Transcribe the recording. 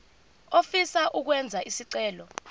ofisa ukwenza isicelo